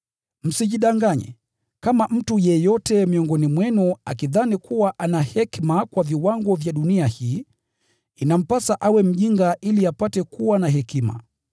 Msijidanganye. Kama mtu yeyote miongoni mwenu akidhani kuwa ana hekima kwa viwango vya dunia hii, inampasa awe mjinga ili apate kuwa na hekima.